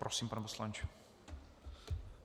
Prosím, pane poslanče.